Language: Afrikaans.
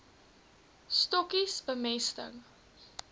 stokkies bemesting